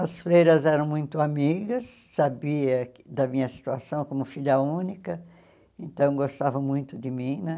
As freiras eram muito amigas, sabia da minha situação como filha única, então gostavam muito de mim né.